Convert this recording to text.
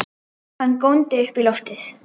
Hann góndi upp í loftið!